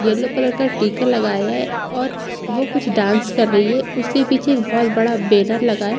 Yellow colour का टीका लगाया है और वो कुछ डांस कर रही है उसके पीछे एक बहुत बड़ा बैनर लगा है।